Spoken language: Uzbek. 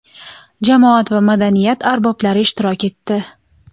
jamoat va madaniyat arboblari ishtirok etdi.